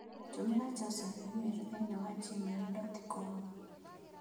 Tũmĩra Joseph i-mīrū thĩinĩ wa gmail dot com